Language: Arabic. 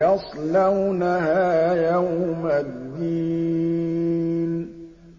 يَصْلَوْنَهَا يَوْمَ الدِّينِ